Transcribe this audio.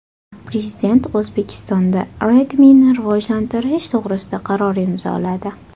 Prezident O‘zbekistonda regbini rivojlantirish to‘g‘risida qaror imzoladi.